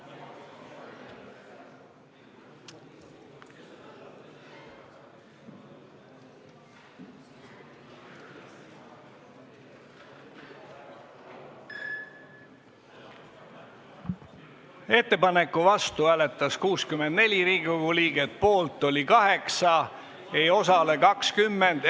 Hääletustulemused Ettepaneku vastu hääletas 64 Riigikogu liiget, poolt oli 8 ja osalemata jättis 20 liiget.